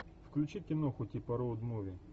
включи киноху типа роуд муви